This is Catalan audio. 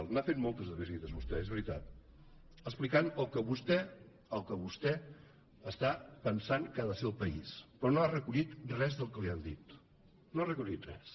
n’ha fet moltes de visites vostè és veritat explicant el que vostè el que vostè està pensant que ha de ser el país però no ha recollit res del que li han dit no ha recollit res